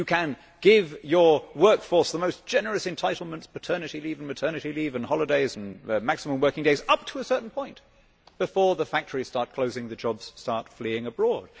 You can give your workforce the most generous entitlements paternity leave, maternity leave, holidays and maximum working days up to a certain point before the factories start closing and the jobs start fleeing abroad.